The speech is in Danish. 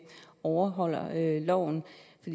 overholder loven